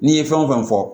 N'i ye fɛn wo fɛn fɔ